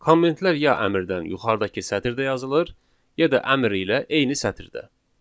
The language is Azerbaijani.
Kommentlər ya əmrdən yuxarıdakı sətirdə yazılır, ya da əmr ilə eyni sətirdə.